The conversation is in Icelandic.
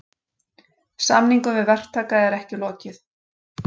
Samningum við verktaka er ekki lokið